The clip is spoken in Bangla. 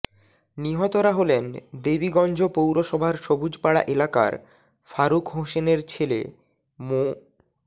নিহতরা হলেন দেবীগঞ্জ পৌরসভার সবুজপাড়া এলাকার ফারুক হোসেনের ছেলে মো